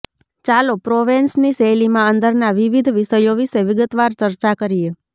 ચાલો પ્રોવેન્સની શૈલીમાં અંદરના વિવિધ વિષયો વિશે વિગતવાર ચર્ચા કરીએ